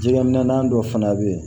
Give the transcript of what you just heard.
Jɛgɛminɛ dɔ fana bɛ yen